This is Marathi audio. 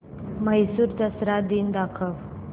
म्हैसूर दसरा दिन दाखव